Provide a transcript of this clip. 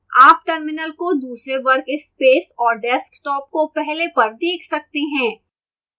आप terminal को दूसरे workspace और desktop को पहले पर देख सकते हैं